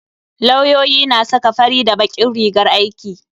Lauyoyi na saka fari da bakin rigar aiki.